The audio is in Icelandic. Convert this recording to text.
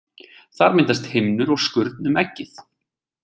Þar myndast himnur og skurn um eggið.